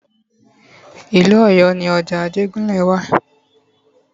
Ìlú Ọ̀yọ́ ni ọjà Ajégúnlẹ̀ wa.